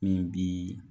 Min bi